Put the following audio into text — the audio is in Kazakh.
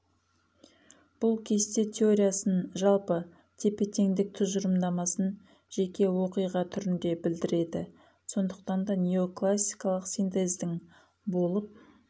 бұл кесте теориясын жалпы тепе теңдік тұжырымдамасын жеке оқиға түрінде білдіреді сондықтан да неоклассикалық синтездің болып